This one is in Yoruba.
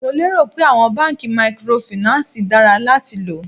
Mo lé rò pé àwọn báńkì mikorofìnánsìì dára láti lò.